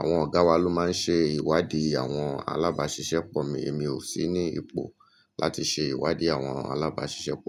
Àwọn ọ̀gá wa ló máa ń ṣe ìwádíí àwọn alábáàṣiṣẹ́ pọ̀ mi. Èmi ò sí ní ipò láti ṣe ìwádíí àwọn alábáàṣiṣẹ́ pọ̀.